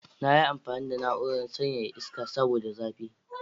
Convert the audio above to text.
Na yi amfani da na'urar sanyaya iska saboda zafi.